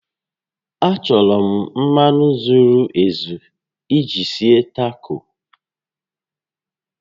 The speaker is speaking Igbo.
Achọrọ m mmanụ zuru ezu iji sie Taco